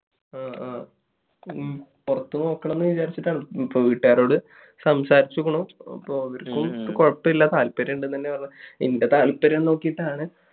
ആ ആ. വേണമെന്ന് വിചാരിച്ചിട്ടാണ്. ഇപ്പോൾ വീട്ടുകാരോട് സംസാരിച്ചുനോക്കണം. കുഴപ്പമില്ല. താല്പര്യം ഉണ്ട് എന്നുതന്നെ പറയാം. എന്റെ താല്പര്യം നോക്കിയിട്ടാണ്